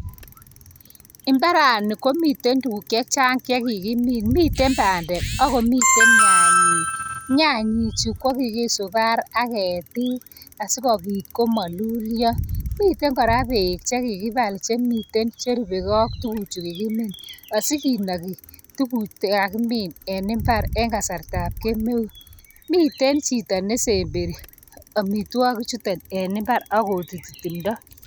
Imbarani komite tukuk chechang chekikimin mite bandek ako miten nyanyik , nyanyi chu koki subar ak ketik asiko pit komalulya, miten kora bek che kikipal chemiten cherubeke ak tukuchuto kikimin asikinaki tukuk chikakimin en imbar en kasarta ab kemeut , miten chito nesemberi amitwakik chuton en imbar akotuti timdo.